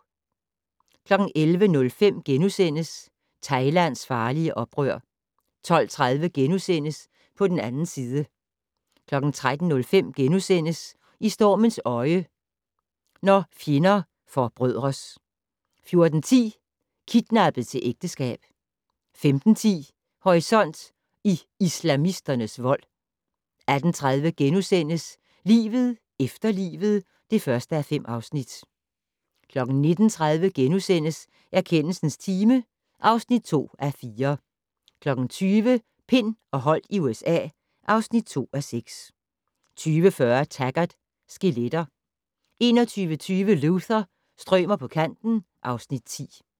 11:05: Thailands farlige oprør * 12:30: På den 2. side * 13:05: I stormens øje - når fjender forbrødres * 14:10: Kidnappet til ægteskab 15:10: Horisont: I islamisternes vold 18:30: Livet efter livet (1:5)* 19:30: Erkendelsens time (2:4)* 20:00: Pind og Holdt i USA (2:6) 20:40: Taggart: Skeletter 21:25: Luther - strømer på kanten (Afs. 10)